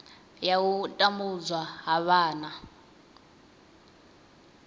ya u tambudzwa ha vhana